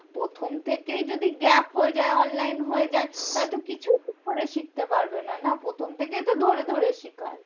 প্রথম থেকেই যদি gap হয়ে যায় online হয়ে যায়, তাহলে তো কিছুই ঠিক করে শিখতে পারবে না না। প্রথম থেকে তো ধরে ধরে শিখায়।